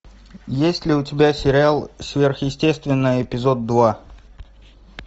есть ли у тебя сериал сверхъестественное эпизод два